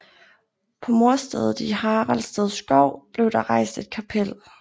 På mordstedet i Haraldsted Skov blev der rejst et kapel